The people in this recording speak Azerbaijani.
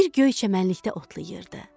Bir göy çəmənlikdə otlayırdı.